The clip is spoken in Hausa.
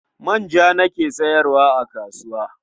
Manja nake sayarwa a kasuwa.